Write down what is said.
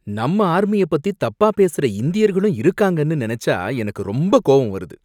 நம்ம ஆர்மியை பத்தி தப்பா பேசுற இந்தியர்களும் இருக்காங்கன்னு நினைச்சா எனக்கு ரொம்ப கோபம் வருது.